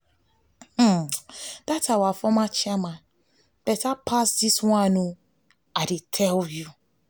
dat our former chairman beta pass dis one i dey tell you